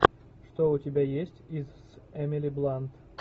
что у тебя есть из эмили блант